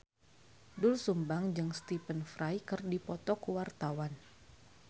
Doel Sumbang jeung Stephen Fry keur dipoto ku wartawan